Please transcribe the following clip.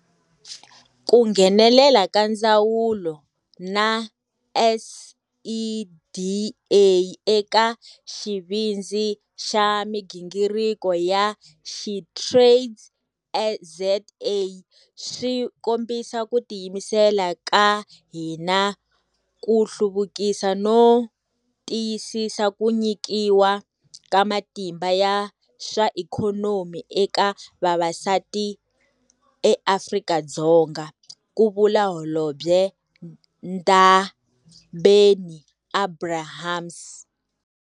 Ku nghenelela ka ndzawulo na SEDA eka Xivindzi xa migingiriko xa SheTradesZA swi kombisa ku tiyimisela ka hina ku hluvukisa no tiyisisa ku nyikiwa ka matimba ya swa ikhonomi eka vavasati eAfrika-Dzonga, ku vula Holobye Ndabeni-Abrahams.